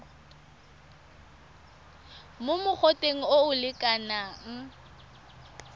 mo mogoteng o o lekanang